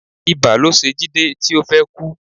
Ibà ló ṣe Jide ti o fi kú